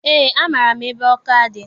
Eé, amaara m ebe Ọka dị